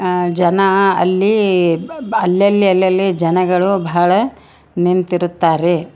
ಅ ಜನ ಅಲ್ಲಿ ಅಲ್ಲಲ್ಲಿ ಅಲ್ಲಲ್ಲಿ ಜನಗಳು ಬಹಳ ನಿಂತಿರುತ್ತಾರೆ.